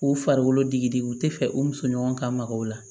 K'u farikolo digidigi u tɛ fɛ u muso ɲɔgɔn ka maga o la